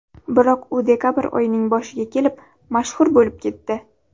Biroq u dekabr oyining boshiga kelib mashhur bo‘lib ketdi.